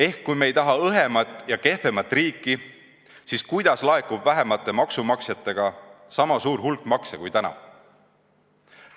Ehk kui me ei taha õhemat ja kehvemat riiki, siis kuidas laekub vähemate maksumaksjatega sama suur hulk makse kui täna?